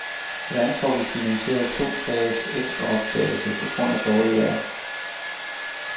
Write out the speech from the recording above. Hvordan får vi finansieret to dages ekstraoptagelse på grund af dårligt vejr?